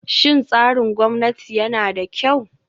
Shin tsarin gwamnati yana da kyau?